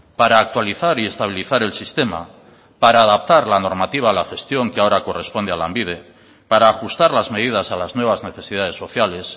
para actualizar y estabilizar el sistema para adaptar la normativa a la gestión que ahora corresponde a lanbide para ajustar las medidas a las nuevas necesidades sociales